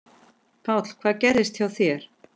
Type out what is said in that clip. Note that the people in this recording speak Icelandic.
Páll: Hvað gerðist hjá þér?